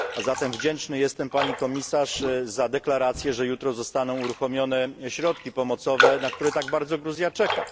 Zatem wdzięczny jestem pani Komisarz za deklarację, że jutro zostaną uruchomione środki pomocowe, na które tak bardzo Gruzja czeka.